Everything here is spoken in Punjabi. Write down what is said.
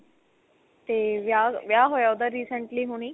ਤੇ ਵਿਆਹ ਵਿਆਹ ਹੋਇਆ ਉਹਦਾ recently ਹੁਣੀ